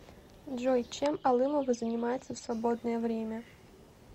джой чем алымова занимается в свободное время